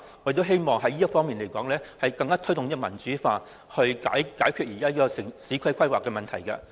我希望可以在這方面推動民主化，以解決現時的市區規劃問題。